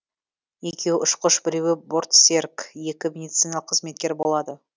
екеуі ұшқыш біреуі бортсерік екі медициналық қызметкер болады